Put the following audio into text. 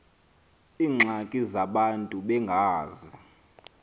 iingxaki zabantu bengazi